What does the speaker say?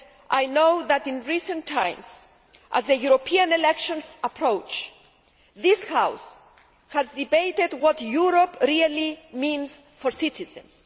I know that in recent times, as the European elections approach, this House has debated what Europe really means for citizens.